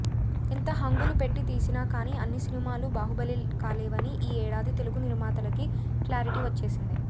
ఎంత హంగులు పెట్టి తీసినా కానీ అన్ని సినిమాలూ బాహుబలి కాలేవని ఈ ఏడాది తెలుగు నిర్మాతలకి క్లారిటీ వచ్చేసింది